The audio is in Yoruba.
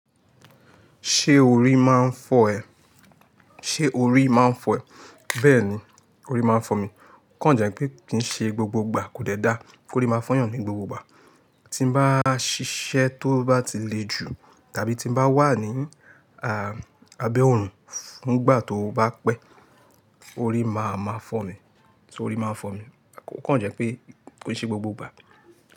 Ṣé orí máa ń fọ́ ẹ? Ṣé orí máa ń fọ́ ẹ? Bẹ́ẹ̀ni, orí máa ń fọ́ mi. O Kàn jẹ́ pé kì í ṣe gbogbo ìgbà kò dẹ́ dá kó rí máa fọ́yàn ni gbogbo ìgbà. Tí n bá ṣiṣẹ́ tó bá ti le ju tàbí tí n bá wà ní a, abẹ́ òòrùn fún ìgbà tó bá pẹ́, orí máa máa fọ́ mi, tí orí máa ń fọ́ mi. O Kàn jẹ́ pé kì í ṣe gbogbo ìgbà.